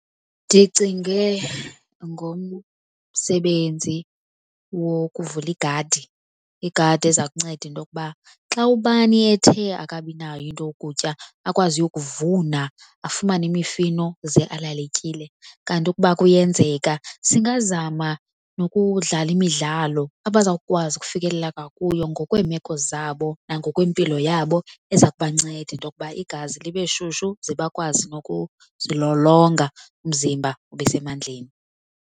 Ndicinge ngomsebenzi wokuvula igadi. Igadi eza kunceda into yokuba xa ubani ethe akabinayo into yukutya akwazi uyokuvuna afumane imifino ze alale etyile. Kanti ukuba kuyenzeka singazama nokudlala imidlalo abazawukwazi ukufikelela ngakuyo ngokweemeko zabo nangokwempilo yabo eza kubanceda into yokuba igazi libe shushu zebakwazi nokuzilolonga, umzimba ube usemandleni.